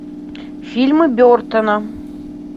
фильмы бертона